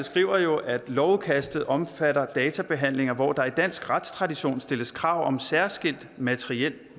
skriver jo at lovudkastet omfatter databehandlinger hvor der i dansk retstradition stilles krav om særskilt materiel